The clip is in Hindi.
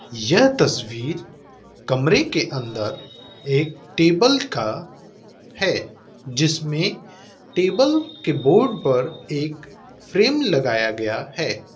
यह तस्वीर कमरे के अंदर एक टेबल का है जिसमें टेबल के बोर्ड पर एक फ्रेम लगाया गया है।